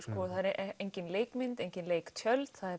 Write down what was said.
engin leikmynd engin leiktjöld